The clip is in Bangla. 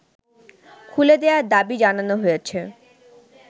খুলে দেয়ার দাবি জানানো হয়েছে